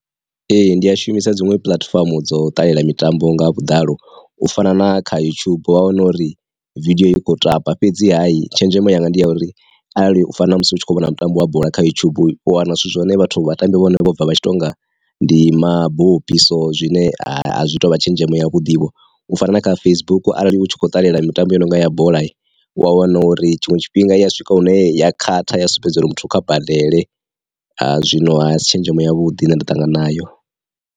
Ee ndi a shumisa dziṅwe puḽatifomo dzo ṱalela mitambo nga vhuḓalo u fana na kha yutshubu vha wana uri vidio i kho tamba fhedzi tshenzhemo yanga ndi ya uri, arali u fana na musi u tshi kho vhona mutambo wa bola kha yutshubu u wana zwithu zwa hone vhathu vha tambi vha hone bva vhatshi tonga ndi mabopi so, zwine a zwi tovha tshenzhemo ya vhuḓi vho, u fana na kha Facebook arali u tshi kho ṱalela mitambo ya nonga ya bola, u ya wana uri tshiṅwe tshifhinga ya swika hune ya khaṱha ya sumbedza uri muthu kha badele a zwino a si tshenzhemo ya vhuḓi na nda ṱangana nayo.